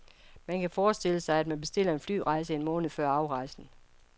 Man kan forestille sig, at man bestiller en flyrejse en måned før afrejsen.